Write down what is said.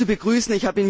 Er ist zu begrüßen.